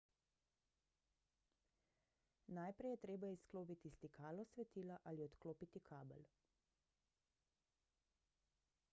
najprej je treba izklopiti stikalo svetila ali odklopiti kabel